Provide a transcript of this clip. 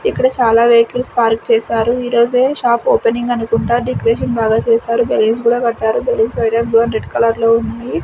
ఇక్కడ చాలా vehicles park చేసారు ఈరోజే షాప్ ఓపెనింగ్ అనుకుంట డెకరేషన్ బాగా చేసారు బెలూన్స్ కూడా కట్టారు balloons white and brown red లో ఉన్నాయి.